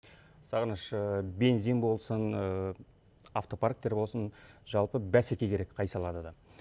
сағыныш бензин болсын автопарктер болсын жалпы бәсеке керек қай салада да